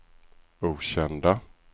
okända